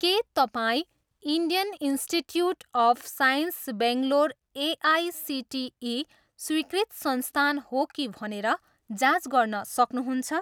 के तपाईँँ Indian Institute of Science Bangalore AICTE स्वीकृत संस्थान हो कि भनेर जाँच गर्न सक्नुहुन्छ?